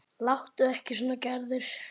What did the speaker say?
Láttu ekki svona Gerður.